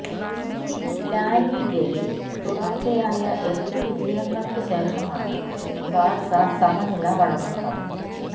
ലാലിഗയില് തുടര്ച്ചയായ എട്ട് വിജയങ്ങള്ക്ക് ശേഷമാണ് ബാഴ്സ സമനില വഴങ്ങുന്നത്